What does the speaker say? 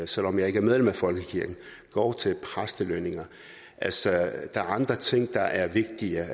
selv om jeg ikke er medlem af folkekirken går til præstelønninger altså der er andre ting der er vigtigere